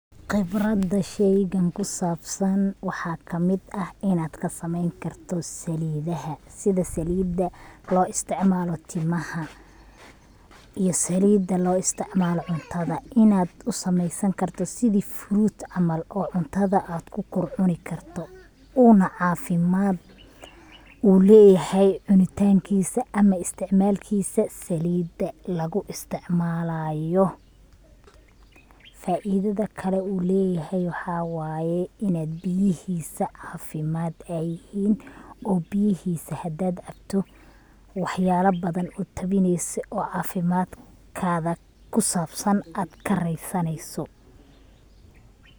Qibrada sheygan kusabsan waxa kamid ah inad kasameeyn karto saalidaha, sida saalida loo isticmaalo timaha iyo saalida loo isticmaalo cuntada inad usameeysan karto sidi furut camal oo cuntada ad kukor cuni karto una caafimad uleyahay cunitankisa ama isticmaalkisa saalida lugu isticmaalayo. Faidada kale uu leyahay waxa waye inad biyahiisa caafimad ay yihin oo biyahiisa hadad cabto waxyala badan utabineyso oo caafimadkaga kusabsan ad kareesaneyso